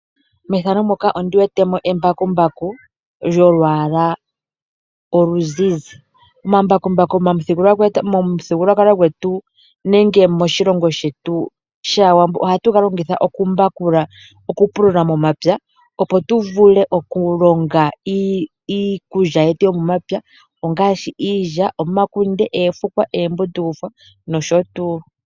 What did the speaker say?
Embakumbaku lyolwala oluzizi, Omambakumbaku momuthigululwakalo gwetu nenge moshilongo shetu shawambo ohatu ga longitha okumbakula ,okupulula momapya opo tuvule okulonga iikulya yetu yomomapya , ongashi iilya, omakunde, efukwa, embundukufwa nosho tu.